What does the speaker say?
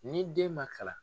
Ni den ma kalan